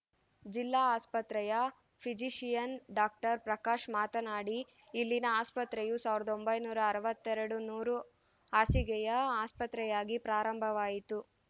ಜಿಲ್ಲಾ ಆಸ್ಪತ್ರೆಯ physician doctor Prakash ಮಾತನಾಡಿ ಇಲ್ಲಿನ ಆಸ್ಪತ್ರೆಯೂ ಸಾವಿರದ ಒಂಬೈನೂರ ಅರವತ್ತೆರಡು ನೂರು ಹಾಸಿಗೆಯ ಆಸ್ಪತ್ರೆಯಾಗಿ ಪ್ರಾರಂಭವಾಯಿತು